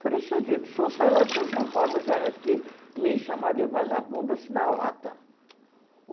Falei, seu Dito, o senhor sai lá de São Paulo para chegar aqui me chamar de vagabundo, assim na lata.